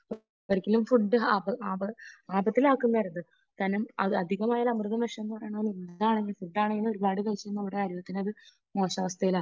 ഒരിക്കലും ഫുഡ് ആപത്തിൽ ആക്കുന്നത് ആകരുത്. കാരണം അത് അധികമായാൽ അമൃതും വിഷമാണ് ഫുഡ് ആണെങ്കിലും എന്തായാലും നമ്മുടെ ആരോഗ്യത്തിനെ അത് മോശം അവസ്ഥയിലാക്കും.